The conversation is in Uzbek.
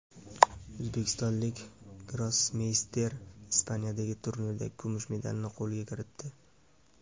O‘zbekistonlik grossmeyster Ispaniyadagi turnirda kumush medalni qo‘lga kiritdi.